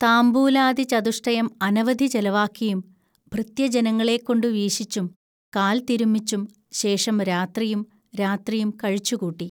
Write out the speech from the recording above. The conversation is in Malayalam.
താംബൂലാദി ചതുഷ്ടയം അനവധി ചെലവാക്കിയും, ഭൃത്യജനങ്ങളെക്കൊണ്ടു വീശിച്ചും കാൽ തിരുമിച്ചും, ശേഷം രാത്രിയും രാത്രിയും കഴിച്ചുകൂട്ടി